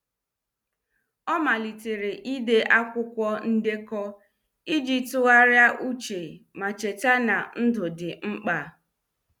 Ọ malitere ide akwụkwọ ndekọ iji tụgharịa uche ma cheta na ndụ dị mkpa.